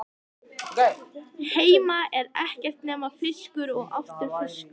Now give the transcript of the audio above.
Heima er ekkert nema fiskur og aftur fiskur.